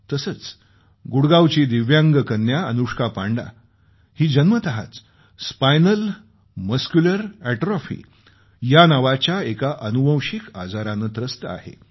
तसंच गुडगावची दिव्यांग कन्या अनुष्का पांडा ही जन्मतःच स्पायनल मस्क्युलर अॅट्रोफीनावाच्या एका अनुवंशिक आजाराने त्रस्त आहे